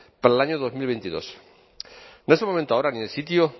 para el año dos mil veintidós no es el momento ahora ni el sitio